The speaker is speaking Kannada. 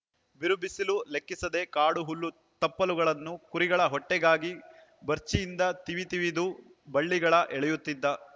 ಬಿರುಬಿಸಿಲು ಲೆಕ್ಕಿಸದೆ ಕಾಡು ಹುಲ್ಲು ತಪ್ಪಲುಗಳನ್ನು ಕುರಿಗಳ ಹೊಟ್ಟಿಗಾಗಿ ಬರ್ಚಿಯಿಂದ ತಿವಿತಿವಿದು ಬಳ್ಳಿಗಳ ಎಳೆಯುತ್ತಿದ್ದ